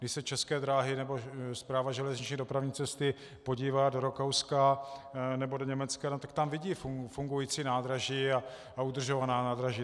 Když se České dráhy nebo Správa železniční dopravní cesty podívá do Rakouska nebo do Německa, tak tam vidí fungující nádraží a udržovaná nádraží.